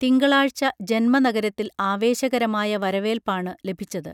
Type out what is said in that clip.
തിങ്കളാഴ്ച ജന്മനഗരത്തിൽ ആവേശകരമായ വരവേൽപ്പാണു ലഭിച്ചത്